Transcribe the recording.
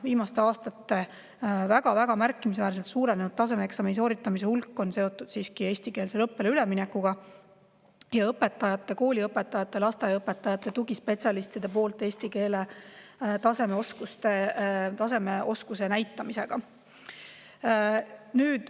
Viimastel aastatel väga-väga märkimisväärselt suurenenud tasemeeksami sooritamise hulk on seotud siiski eestikeelsele õppele üleminekuga ning õpetajate – kooliõpetajate, lasteaiaõpetajate – ja tugispetsialistide eesti keele oskuse näitamisega tasemel.